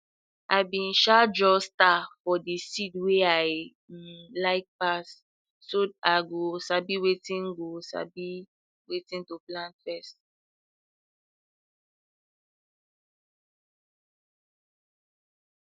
i bin um draw star for de seed wey i um like pass so i go sabi wetin go sabi wetin to plant first